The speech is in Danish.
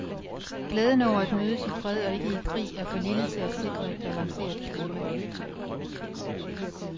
Glæden over at mødes i fred og ikke i krig er for lille til at sikre et balanceret klima.